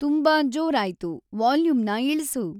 ತುಂಬಾ ಜೋರಾಯ್ತು ವಾಲ್ಯೂಮ್ನ ಇಳ್ಸು